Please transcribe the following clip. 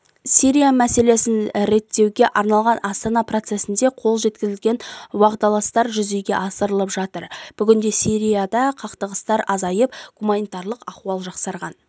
сирия мәселесін реттеуге арналған астана процесінде қол жеткізілген уағдаластықтар жүзеге асырылып жатыр бүгінде сирияда қақтығыстар азайып гуманитарлық ахуал жақсарған